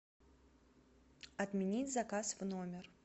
отменить заказ в номер